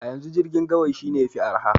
A yanzu, girkin gawayi shine yafi araha.